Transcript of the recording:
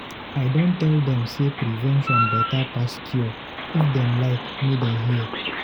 I don tell dem say prevention better pass cure, if dem like make dem hear.